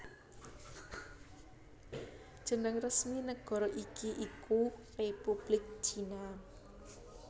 Jeneng resmi nagara iki iku Républik China